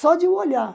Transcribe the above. Só de eu olhar.